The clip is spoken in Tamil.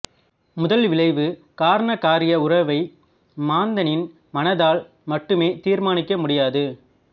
முதல்விளைவு காரணகாரிய உறவை மாந்தனின் மனதால் மட்டுமே தீர்மானிக்க முடியாது